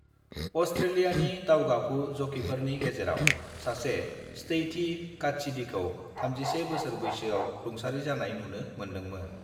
अस्ट्रेलियानि दावगाफु जकीफोरनि गेजेराव सासे स्टैथी कात्सिडिखौ 31 बोसोर बैसोआव रुंसारि जानाय नुनो मोन्दोंमोन।